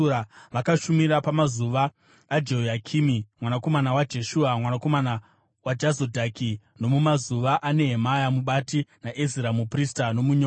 Vakashumira pamazuva aJehoyakimi mwanakomana waJeshua, mwanakomana waJozadhaki, nomumazuva aNehemia mubati naEzira muprista nomunyori.